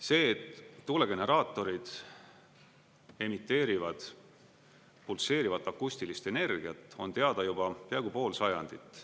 See, et tuulegeneraatorid emiteerivad pulseerivat akustilist energiat, on teada juba peaaegu pool sajandit.